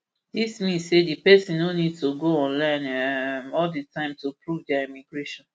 dis mean say di pesin no need to go online um all di time to prove dia immigration